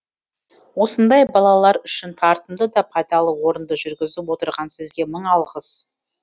осындай балалар үшін тартымды да пайдалы орынды жүргізіп отырған сізге мың алғыс